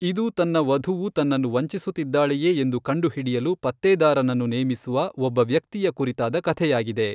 ಇದು ತನ್ನ ವಧುವು ತನ್ನನ್ನು ವಂಚಿಸುತ್ತಿದ್ದಾಳೆಯೇ ಎಂದು ಕಂಡುಹಿಡಿಯಲು ಪತ್ತೇದಾರನನ್ನು ನೇಮಿಸುವ ಒಬ್ಬ ವ್ಯಕ್ತಿಯ ಕುರಿತಾದ ಕಥೆಯಾಗಿದೆ.